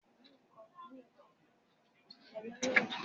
Agbeko yipo igbonse ni ibi ti a ti gbo yipo igbonse